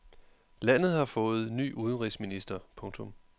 Landet har fået ny udenrigsminister. punktum